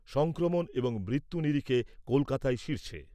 সংক্রমণ এবং মৃত্যুর নিরিখে কলকাতাই শীর্ষে ।